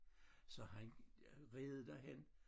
Så han red derhen